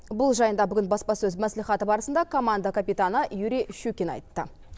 бұл жайында бүгін баспасөз мәслихаты барысында команда капитаны юрий щукин айтты